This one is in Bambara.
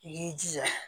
I y'i jija